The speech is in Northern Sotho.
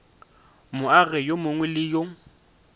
moagi yo mongwe le yo